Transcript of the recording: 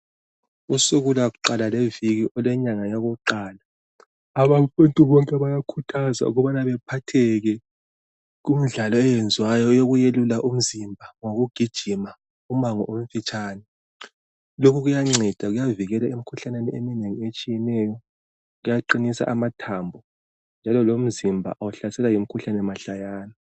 Kusuku lwakuqala lweviki olwenyanga yakuqala abantu bonke bayakhuthazwa ukubana bephatheke kumidlalo eyenziwayo eyokuyelula imizimba ngokugijima umango omfitshane. Lokhu kuyanceda kuyavikela emikhuhlaneni eminengi etshiyeneyo, kuyaqinisa amathambo njalo lomzimba awuhlaselwa yimikhuhlane mahlayana.